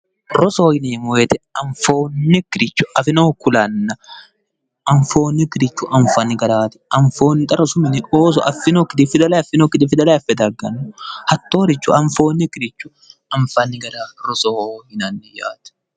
rosoho yineemmo wote anfoonnikkire afinohu kulanna anfoonnikkire afinohu kulanno garaati xa rosu mine ooso affinokkiti fidale affinokkiti fidale affe dagganno hattooricho anfoonnikiricho anfanni gara rosoho yinanni yaate.